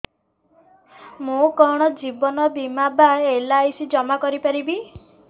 ମୁ କଣ ଜୀବନ ବୀମା ବା ଏଲ୍.ଆଇ.ସି ଜମା କରି ପାରିବି